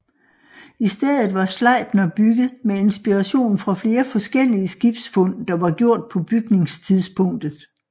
I stedet var Sleipner bygget med inspiration fra flere forskellige skibsfund der var gjort på bygningstidspunktet